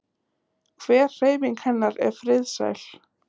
Hver hreyfing hennar er friðsæl.